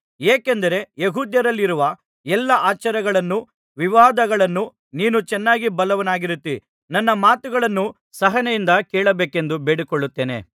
ಏಕೆಂದರೆ ಯೆಹೂದ್ಯರಲ್ಲಿರುವ ಎಲ್ಲಾ ಆಚಾರಗಳನ್ನೂ ವಿವಾದಗಳನ್ನೂ ನೀನು ಚೆನ್ನಾಗಿ ಬಲ್ಲವನಾಗಿರುತ್ತೀ ನನ್ನ ಮಾತುಗಳನ್ನು ಸಹನೆಯಿಂದ ಕೇಳಬೇಕೆಂದು ಬೇಡಿಕೊಳ್ಳುತ್ತೇನೆ